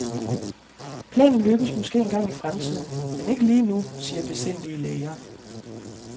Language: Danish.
Planen lykkes måske engang i fremtiden, men ikke lige nu, siger besindige læger.